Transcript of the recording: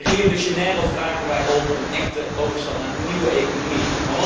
In Rio de Janeiro vragen wij om een echte overstap naar een nieuwe economie.